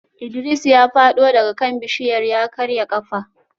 Idris ya fado daga kan bishiyar ya karya kafa